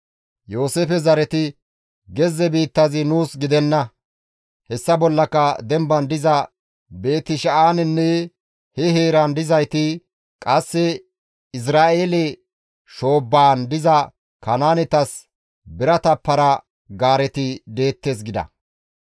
Yooseefe zareti, «Gezze biittazi nuus gidenna; hessa bollaka demban diza Beeti-Sha7aanenne he heeran dizayti, qasse Izra7eele shoobbaan diza Kanaanetas birata para-gaareti deettes» gida.